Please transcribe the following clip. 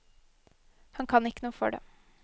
Han kan ikke noe for det.